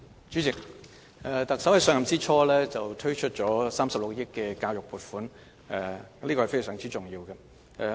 主席，特首在上任之初推出了36億元的教育撥款，這是非常重要的。